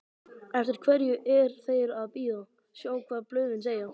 Eftir hverju er þeir að bíða, sjá hvað blöðin segja?